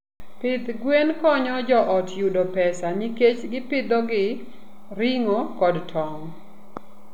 Pidh gwen konyo joot yudo pesa nikech gipidhogi ring'o kod tong'.